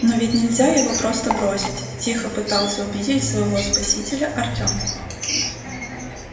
но ведь нельзя его просто бросить тихо пытался убедить своего спасителя артём